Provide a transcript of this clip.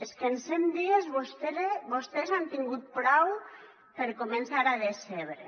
és que en cent dies vostès han tingut prou per començar a decebre